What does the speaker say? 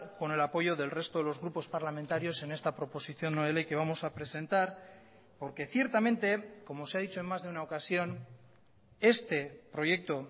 con el apoyo del resto de los grupos parlamentarios en esta proposición no de ley que vamos a presentar porque ciertamente como se ha dicho en más de una ocasión este proyecto